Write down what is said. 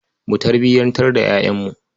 Mu tarbiyantar da ƴaƴanmu.